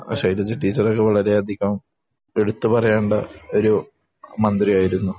ആ. ശൈലജ ടീച്ചർ ഒക്കെ വളരെയധികം എടുത്ത് പറയേണ്ട ഒരു മന്ത്രിയായിരുന്നു.